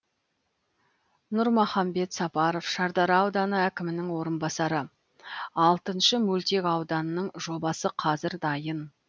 нұрмахамбет сапаров шардара ауданы әкімінің орынбасары алтыншы мөлтек ауданның жобасы қазір дайын